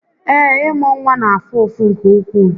Ee, ị́mụ́ nwa na-afụ ụfụ nke ukwuu